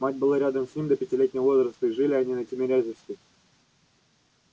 мать была рядом с ним до пятилетнего возраста и жили они на тимирязевской